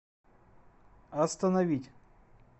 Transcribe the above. остановить